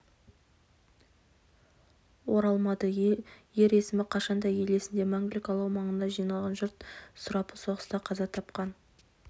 оралмады ер есімі қашанда ел есінде мәңгілік алау маңына жиналған жұрт сұрапұл соғыста қаза тапқан